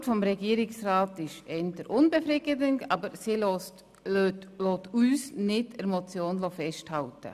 Die Antwort des Regierungsrats ist eher unbefriedigend, aber sie lässt uns nicht an der Motion festhalten.